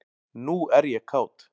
Nú er ég kát.